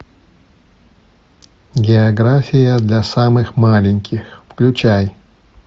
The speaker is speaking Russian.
география для самых маленьких включай